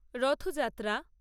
Rathyatra